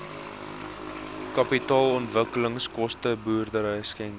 kapitaalontwikkelingskoste boerdery skenkings